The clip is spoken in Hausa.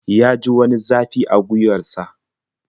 Ya ji wani zafi a gwiwar sa.